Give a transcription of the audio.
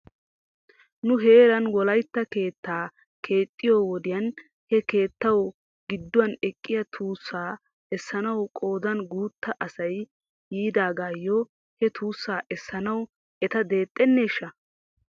Nu heeran wolaytta keettaa keexxiyyoo wodiyan he keettaw gidduwan eqqiyaa tuusaa essanaw qoodan guutta asay yiidaagaayo he tuussaa essanaw eta deexxeneeshsha?